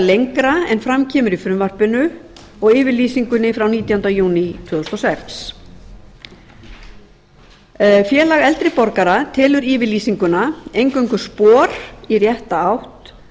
lengra en fram kemur í frumvarpinu og yfirlýsingunni frá nítjánda júní tvö þúsund og sex félag eldri borgara telur yfirlýsinguna eingöngu spor í rétta átt